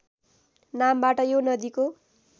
नामबाट यो नदीको